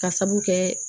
Ka sabu kɛ